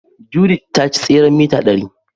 Judith ta ci tseren mita ɗari.